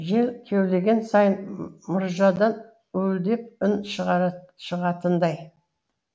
жел кеулеген сайын мұржадан уілдеп үн шығатындай